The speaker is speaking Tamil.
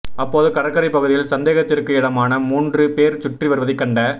அப்போது கடற்கரைப் பகுதியில் சந்தேகத்திற்கு இடமாக மூன்று போ் சுற்றி வருவதைக் கண்ட